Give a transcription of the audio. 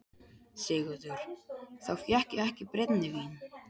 SIGURÐUR: Þá fékk ég ekki brennivín.